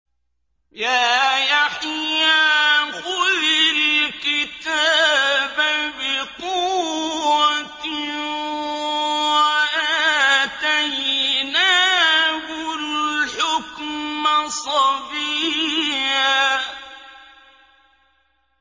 يَا يَحْيَىٰ خُذِ الْكِتَابَ بِقُوَّةٍ ۖ وَآتَيْنَاهُ الْحُكْمَ صَبِيًّا